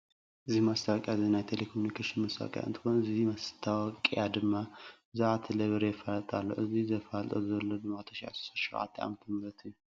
እዚ ማስታወቅያ እዚ ናይ ቴለኮምኒኬሽን መስታወቅያ እንትኮን እዚ ማስታወቅያ ድማ ብዛዕባ ቴሌ ብር የፋልጥ ኣሎ። እዚ ዘፋልጦ ዘሎ ድማ 2017 ዓ/ም እዩ።